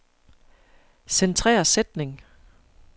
Centrer sætning.